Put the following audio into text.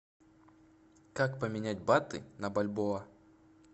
как поменять баты на бальбоа